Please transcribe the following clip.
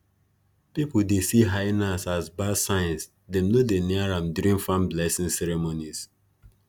people dey see hyenas as bad signs dem no dey near am during farm blessing ceremonies